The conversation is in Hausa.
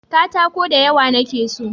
katako da yawa na ke so